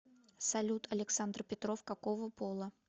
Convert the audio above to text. салют александр петров какого пола